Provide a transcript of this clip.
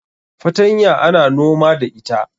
fatanya ana noma da ita